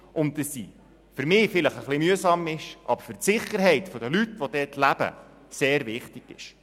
Für mich ist sie vielleicht ein bisschen mühsam, aber für die Sicherheit der Leute, die dort leben, ist sie sehr wichtig.